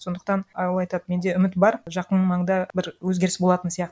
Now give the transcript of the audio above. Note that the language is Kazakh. сондықтан і ол айтады менде үміт бар жақын маңда бір өзгеріс болатын сияқты